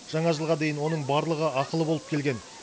жаңа жылға дейін оның барлығы ақылы болып келген